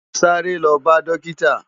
Sàré lò bá dòkitá